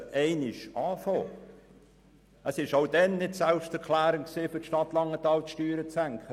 Damals war es für die Stadt Langenthal nicht selbsterklärend, die Steuern zu senken.